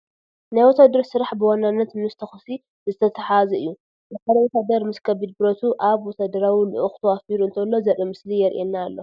ናይ ወታደር ስራሕ ብዋናነት ምስ ተኹሲ ዝተተሓዘ እዩ፡፡ ሓደ ወታደር ምስ ከቢድ ብረቱ ኣብ ወታደራዊ ልኡኽ ተዋፊሩ እንተሎ ዘርኢ ምስሊ ይርአ ኣሎ፡፡